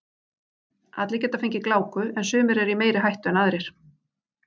Allir geta fengið gláku en sumir eru í meiri hættu en aðrir.